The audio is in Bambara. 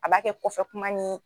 A b'a kɛ kɔfɛ kuma ni